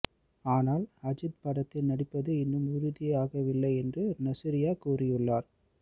ஆனால் அஜித் படத்தில் நடிப்பது இன்னும் உறுதியாகவில்லை என்று நஸ்ரியா கூறியுள்ளார்